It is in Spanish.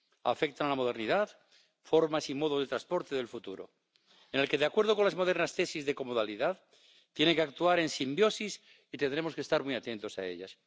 afectan a la modernidad, formas y modos de transporte del futuro, en el que, de acuerdo con las modernas tesis de comodalidad, tienen que actuar en simbiosis, por lo que tendremos que estar muy atentos a ellas.